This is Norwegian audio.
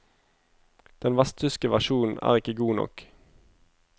Den vesttyske versjonen er ikke god nok.